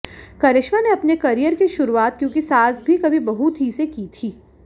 करिश्मा ने अपने करियर की शुरुआत क्योंकि सास भी कभी बहू थी से की थी